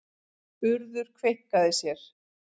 Urður kveinkaði sér.